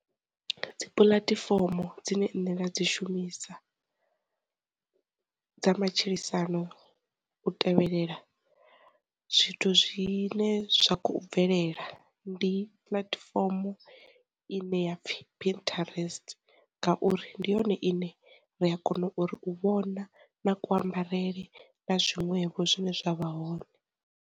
Dzi puḽatifomo dzine nṋe nda dzi shumisa dza matshilisano u tevhelela zwithu zwine zwa kho bvelela, ndi platform ine ya pfhi pinterest ngauri ndi yone ine ri a kona uri u vhona na ku ambarele na zwiṅwevho zwine zwavha hone.